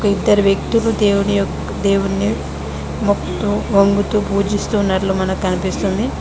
ఇద్దరు వ్యక్తులు దేవుని యొక్క దేవుని మొక్కుతు వంగుతూ పూజిస్తూన్నట్లు మనకు కనిపిస్తుంది.